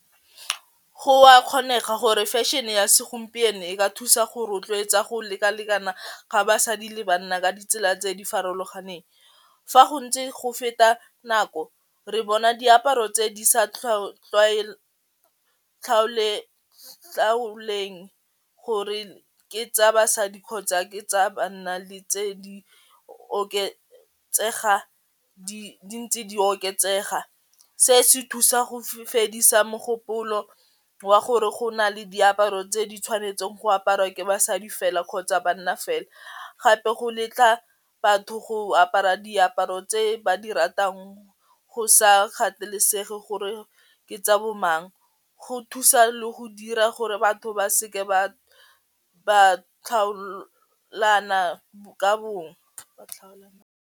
Go a kgonega gore fashion-e ya segompieno e ka thusa go rotloetsa go lekalekana ga basadi le banna ka ditsela tse di farologaneng, fa go ntse go feta nako re bona diaparo tse di sa gore ke tsa basadi kgotsa ke tsa banna le tse di oketsega di ntse di oketsega se se thusa go fedisa mogopolo wa gore go na le diaparo tse di tshwanetseng go aparwa ke basadi fela kgotsa banna fela, gape go letla batho go apara diaparo tse ba di ratang go sa kgathalesege gore ke tsa bo mang go thusa le go dira gore batho ba seke ba ka bong.